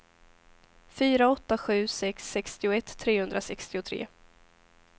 fyra åtta sju sex sextioett trehundrasextiotre